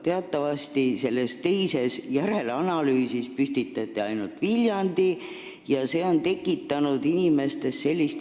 Teatavasti püstitati selles teises, järelanalüüsis asupaigana ainult Viljandi, mis on tekitanud inimestes kahtlusi.